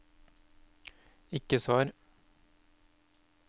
ikke svar